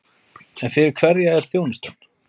En fyrir hverja er þjónustan?